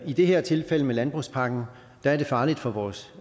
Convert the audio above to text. i det her tilfælde med landbrugspakken er det farligt for vores